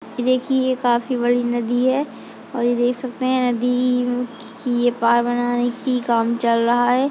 देखिए ये काफी बड़ी नदी है। और ये देख सकते हैंनदी की ये बनाने की काम चल रहा है।